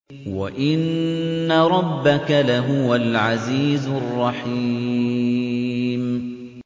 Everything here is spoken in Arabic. وَإِنَّ رَبَّكَ لَهُوَ الْعَزِيزُ الرَّحِيمُ